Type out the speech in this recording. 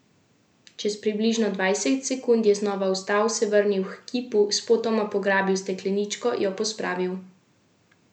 Čez približno dvajset sekund je znova vstal, se vrnil h kipu, spotoma pograbil stekleničko, jo pospravil v notranji žep in se vrnil po isti poti.